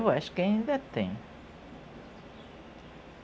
Eu acho que ainda tem.